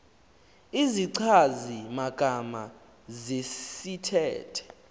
izichazi magama zesithethe